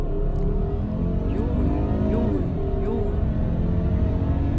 juryen juryen juryen